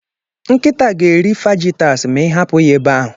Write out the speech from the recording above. Nkịta ga-eri Fajitas ma ị hapụ ya ebe ahụ.